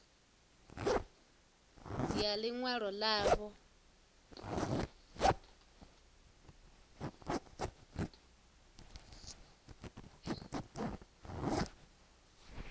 ya ḽi ṅwalo ḽavho ḽa